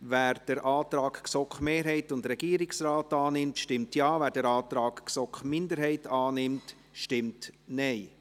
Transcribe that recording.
Wer den Antrag GSoK-Mehrheit und Regierung annimmt, stimmt Ja, wer den Antrag GSoK-Minderheit annimmt, stimmt Nein.